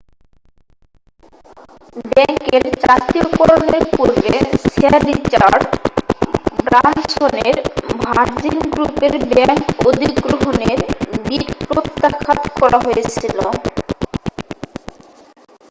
ব্যাংকের জাতীয়করণের পূর্বে স্যার রিচার্ড ব্রানসনের ভার্জিন গ্রুপের ব্যাংক অধিগ্রহণের বিড প্রত্যাখান করা হয়েছিল